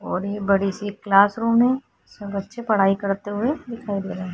और ये बड़ी सी क्लासरूम है जिसमे बच्चे पढाई करते हुए दिखाई दे रहा है।